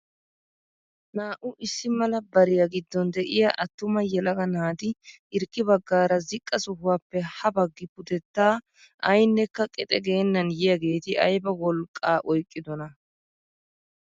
Naa"u issi mala bariyaa giddon de'iyaa attuma yelaga nati hirkki baggaara ziqqa sohuwaappe ha baggi pudettaa aynekka qexe geennan yiyaageti ayba wolqqaa oyqqidoonaa!